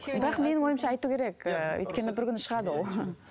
бірақ менің ойымша айту керек ыыы өйткені бір күні шығады ол